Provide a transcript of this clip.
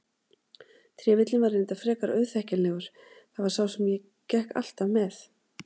Trefillinn var reyndar frekar auðþekkjanlegur, það var sá sem ég gekk alltaf með.